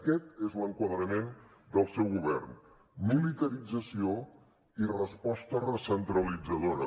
aquest és l’enquadrament del seu govern militarització i resposta recentralitzadora